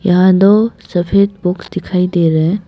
यहां दो सफेद बुक्स दिखाई दे रहा है।